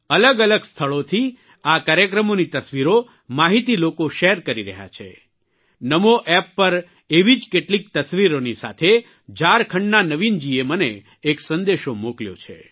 અલગ અલગ સ્થળોથી આ કાર્યક્રમોની તસવીરો માહિતી લોકો શેર કરી રહ્યા છે નમો એપ પર એવી જ કેટલીક તસવીરોની સાથે ઝારખંડના નવીનજીએ મને એક સંદેશો મોકલ્યો છે